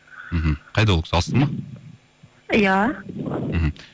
мхм қайда ол кісі алыста ма иә мхм